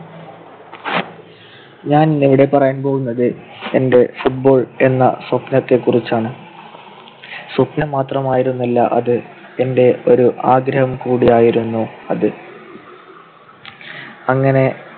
ഞാൻ ഇന്ന് ഇവിടെ പറയാൻ പോകുന്നത് എൻ്റെ football എന്ന സ്വപ്‌നത്തെക്കുറിച്ചാണ്. സ്വപ്‌നം മാത്രമായിരുന്നില്ല അത്. എൻ്റെ ഒരു ആഗ്രഹം കൂടിയായിരുന്നു അത്. അങ്ങനെ